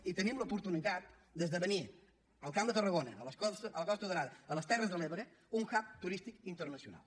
i tenim l’oportunitat d’esdevenir al camp de tarragona a la costa daurada a les terres de l’ebre un hub turístic internacional